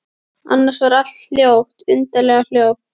Annars var allt hljótt, undarlega hljótt.